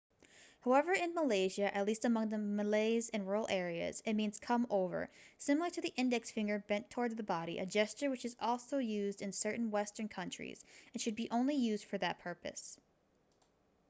however in malaysia at least among the malays in rural areas it means come over similar to the index finger bent toward the body a gesture which is used in certain western countries and should be used only for that purpose